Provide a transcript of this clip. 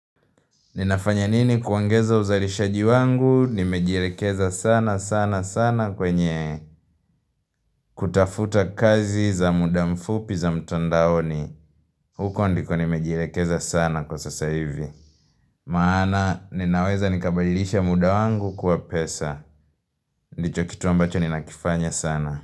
Ninafanya nini kuongeza uzalishaji wangu, nimejilekeza sana sana sana kwenye kutafuta kazi za muda mfupi za mtondaoni. Huko ndiko nimejilekeza sana kwa sasa hivi. Maana, ninaweza nikabadilisha muda wangu kwa pesa. Ndicho kitu ambacho ninakifanya sana.